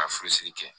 Ka furusiri kɛ